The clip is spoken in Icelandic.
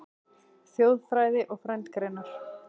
Þjóðfræði og frændgreinar